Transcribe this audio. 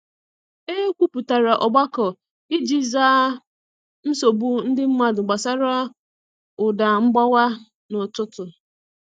E kwupụtara ogbako iji zaa nsogbu ndị mmadụ gbasara ụda mgbawa n’ụtụtụ